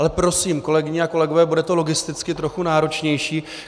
Ale prosím, kolegyně a kolegové, bude to logisticky trochu náročnější.